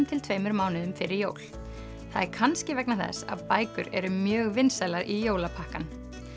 til tveimur mánuðum fyrir jól það er kannski vegna þess að bækur eru mjög vinsælar í jólapakkann